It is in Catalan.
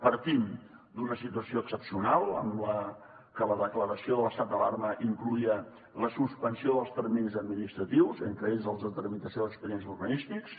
partim d’una situació excepcional en la que la declaració de l’estat d’alarma incloïa la suspensió dels terminis administratius entre ells els de tramitació d’expedients urbanístics